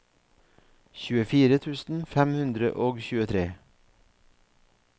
tjuefire tusen fem hundre og tjuetre